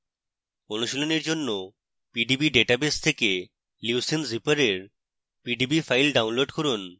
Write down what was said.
অনুশীলনীর জন্য pdb database থেকে leucine zipper for pdb file download করুন